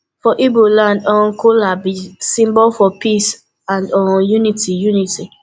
for igbo land um kola b symbol for peace and um unity unity